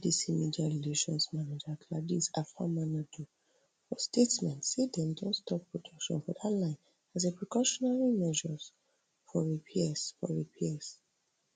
spdc media relations manager gladys afamanadu for statement say dem don stop production for dat line as a precautionary measure for repairs for repairs